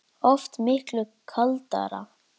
Oft miklu kaldara